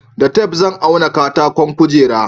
da tef zan auna katakon kujeru